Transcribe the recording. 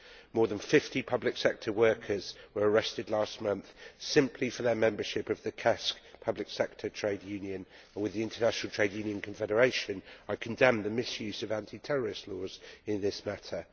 More than 50 public sector workers were arrested last month, simply for their membership of the KESK public sector trade union. With the International Trade Union Confederation, I condemn the misuse of anti terrorist laws in this matter.